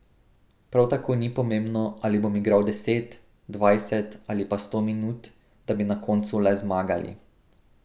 Prav tako ni pomembno, ali bom igral deset, dvajset ali pa sto minut, da bi na koncu le zmagali.